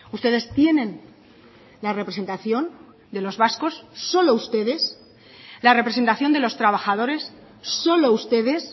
ustedes tienen la representación de los vascos solo ustedes la representación de los trabajadores solo ustedes